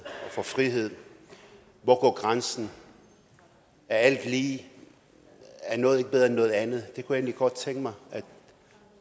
og for frihed hvor går grænsen er alt lige er noget ikke bedre end noget andet det kunne jeg egentlig godt tænke mig